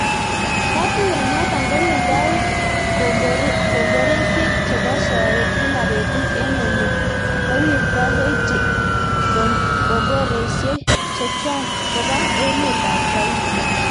Katuiyonotok kowirtoo komboresiek chepo soet kila petut eng olii kowirtoi hoiti komboresiek chechwak kopaa emet ap saudia